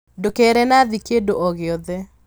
ndũkere Nathi kĩndũ o gĩothe